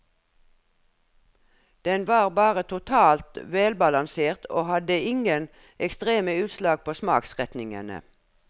Den var bare totalt velbalansert og hadde ingen ekstreme utslag på smaksretningene.